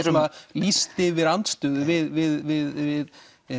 lýst yfir andstöðu við